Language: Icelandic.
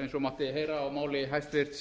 eins og mátti heyra á máli hæstvirts